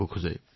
হয় মহোদয়